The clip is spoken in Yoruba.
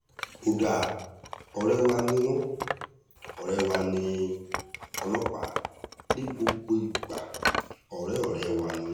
ó dáa ọ̀rẹ́ wa ni wọ́n ọ̀rẹ́ wa ní ọlọ́pàá ní gbogbo ìgbà ọ̀rẹ́ ọ̀rẹ́ wa ni wọ́n